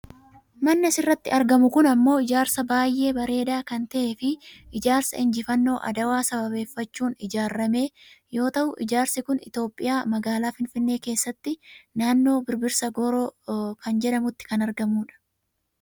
Manni asirratti argamu kun ammoo ijaarsa baayyee bareeda kan ta'eefi ijaarsa Injifannoo Adawaa sababeeffachuun ijaarrame yoo ta'u ijaarsi kun Itoopiyaa magaalaa Finfinnee keessatti naannoo Birbirsa Gooroo kan jedhamutti kan argamudha.